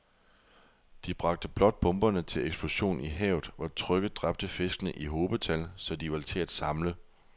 De bragte blot bomberne til eksplosion i havet, hvor trykket dræbte fiskene i hobetal, så de var til at samle